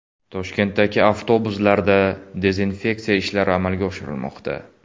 Toshkentdagi avtobuslarda dezinfeksiya ishlari amalga oshirilmoqda.